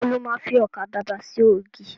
Ìgbà wo lo má fi ọkà babà ṣe ògì?